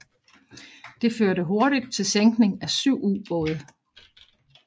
Det førte hurtigt til sænkning af syv ubåde